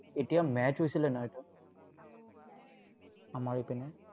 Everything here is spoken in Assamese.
এতিয়া match হৈছিলে নহয়, এটা। আমাৰ এইপিনে